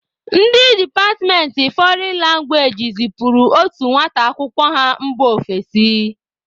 Ndị departmentị fọrịn langwaeji zịpuru otu nwata akwụkwọ ha mba ofesi.